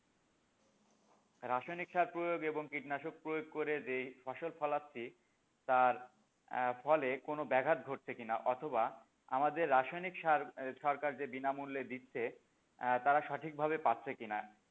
রাসায়নিক সার প্রয়োগ এবং কীটনাশক প্রয়োগ করে যে ফসল ফলাচ্ছি তার ফলে কোনো ব্যাঘাত ঘটছে কি না অথবা আমাদের যে রাসায়নিক সার সরকার যে বিনামূল্যে দিচ্ছে তারা সঠিক ভাবে পাচ্ছে কি না?